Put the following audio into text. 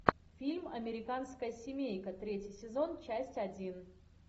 фильм американская семейка третий сезон часть один